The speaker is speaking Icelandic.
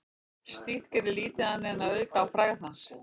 Slíkt gerði lítið annað en að auka á frægð hans.